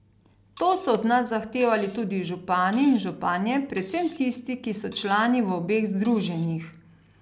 To so od nas zahtevali tudi župani in županje, predvsem tisti, ki so člani v obeh združenjih.